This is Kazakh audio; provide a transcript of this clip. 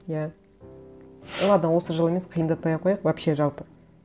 иә ладно осы жылы емес қиындатпай ақ қояйық вообще жалпы